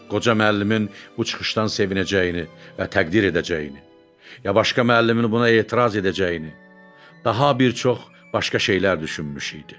Qoca müəllimin bu çıxışdan sevinəcəyini və təqdir edəcəyini, ya başqa müəllimin buna etiraz edəcəyini, daha bir çox başqa şeylər düşünmüşdü.